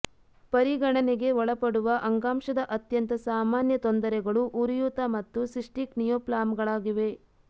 ಪರಿಗಣನೆಗೆ ಒಳಪಡುವ ಅಂಗಾಂಶದ ಅತ್ಯಂತ ಸಾಮಾನ್ಯ ತೊಂದರೆಗಳು ಉರಿಯೂತ ಮತ್ತು ಸಿಸ್ಟಿಕ್ ನಿಯೋಪ್ಲಾಮ್ಗಳಾಗಿವೆ